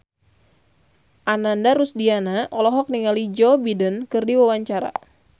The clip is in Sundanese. Ananda Rusdiana olohok ningali Joe Biden keur diwawancara